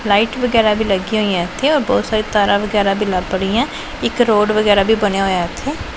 Light ਵਗੈਰਾ ਵੀ ਲੱਗਿਆਂ ਹੋਈਆਂ ਇੱਥੇ ਔਰ ਬਹੁਤ ਸਾਰੀ ਤਾਰਾਂ ਵਗੈਰਾ ਵੀ ਲਾਹ ਪੜ੍ਹੀਆਂ ਇੱਕ ਰੋਡ ਵਗੈਰਾ ਵੀ ਬਣਿਆ ਹੋਇਆ ਇੱਥੇ।